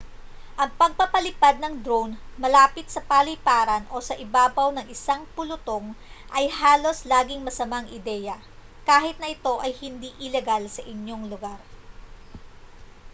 ang pagpapalipad ng drone malapit sa paliparan o sa ibabaw ng isang pulutong ay halos laging masamang ideya kahit na ito ay hindi ilegal sa iyong lugar